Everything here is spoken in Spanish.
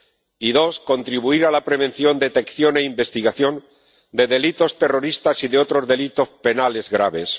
y, en segundo lugar, contribuir a la prevención, detección e investigación de delitos terroristas y de otros delitos penales graves.